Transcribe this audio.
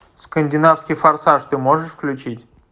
скандинавский форсаж ты можешь включить